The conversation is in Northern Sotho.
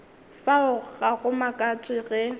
fao ga go makatše ge